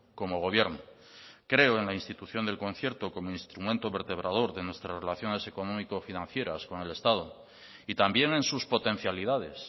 como gobierno creo en la institución del concierto como instrumento vertebrador de nuestras relaciones económico financieras con el estado y también en sus potencialidades